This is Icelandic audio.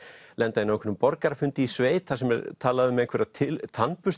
lenda inn á einhverjum borgarafundi í sveit þar sem er talað um einhverja